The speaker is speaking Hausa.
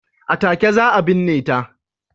A take za a binne ta.